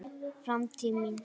Framtíð mín?